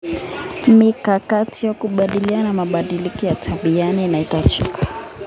Mikakati ya kukabiliana na mabadiliko ya tabianchi inahitajika.